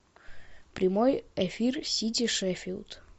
прямой эфир сити шеффилд